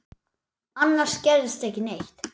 Annars gerðist ekki neitt.